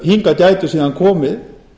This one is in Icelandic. hingað gætu síðan komið